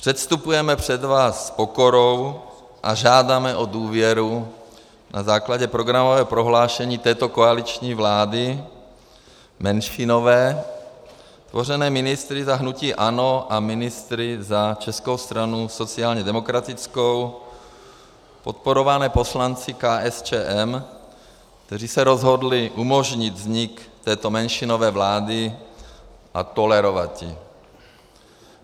Předstupujeme před vás s pokorou a žádáme o důvěru na základě programového prohlášení této koaliční vlády menšinové, tvořené ministry za hnutí ANO a ministry za Českou stranu sociálně demokratickou, podporované poslanci KSČM, kteří se rozhodli umožnit vznik této menšinové vlády a tolerovat ji.